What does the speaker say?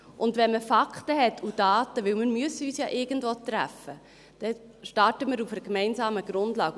Und wenn man Fakten hat und Daten – denn wir müssen uns ja irgendwo treffen –, dann starten wir auf einer gemeinsamen Grundlage.